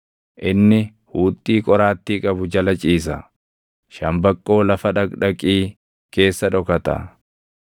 Inni huuxxii qoraattii qabu jala ciisa; shambaqqoo lafa dhaqdhaqii keessa dhokata.